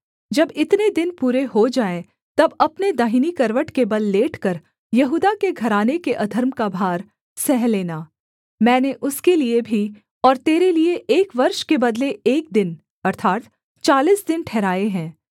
जब इतने दिन पूरे हो जाएँ तब अपने दाहिनी करवट के बल लेटकर यहूदा के घराने के अधर्म का भार सह लेना मैंने उसके लिये भी और तेरे लिये एक वर्ष के बदले एक दिन अर्थात् चालीस दिन ठहराए हैं